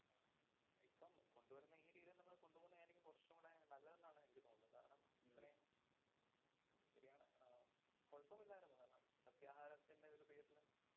ഉം കൊണ്ട് വരുന്ന ഈ രീതിയിലന്നെ നമ്മളത് കൊണ്ട് പോകുന്നയാരീക്കും കൊറച്ചും കൂടെ നല്ലതെന്നാണ് എനിക്ക് തോന്നുന്നത്. കാരണം, ഇത്രയും ശരിയാണ്. അഹ് കൊഴപ്പമില്ലാരുന്നു. കാരണം സസ്യാഹാരത്തിന്‍റെ ഒരു പേരില്